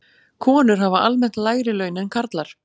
Konur hafa almennt lægri laun en karlar.